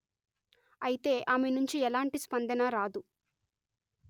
అయితే ఆమె నుంచి ఎలాంటి స్పందన రాదు